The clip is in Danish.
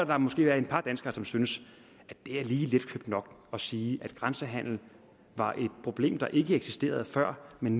der måske er et par danskere som synes at det er lige letkøbt nok at sige at grænsehandelen var et problem der ikke eksisterede før men